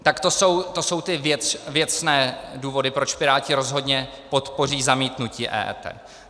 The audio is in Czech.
Tak to jsou ty věcné důvody, proč Piráti rozhodně podpoří zamítnutí EET.